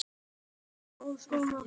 Við vorum ólíkir um margt.